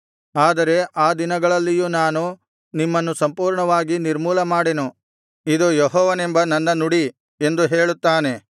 ಆದರೆ ಆ ದಿನಗಳಲ್ಲಿಯೂ ನಾನು ನಿಮ್ಮನ್ನು ಸಂಪೂರ್ಣವಾಗಿ ನಿರ್ಮೂಲಮಾಡೆನು ಇದು ಯೆಹೋವನೆಂಬ ನನ್ನ ನುಡಿ ಎಂದು ಹೇಳುತ್ತಾನೆ